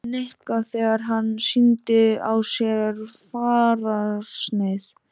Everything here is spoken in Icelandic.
Lilja við Nikka þegar hann sýndi á sér fararsnið.